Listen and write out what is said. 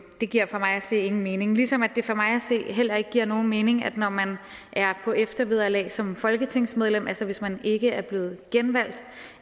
det giver for mig at se ingen mening ligesom det for mig at se heller ikke giver nogen mening at når man er på eftervederlag som folketingsmedlem altså hvis man ikke er blevet genvalgt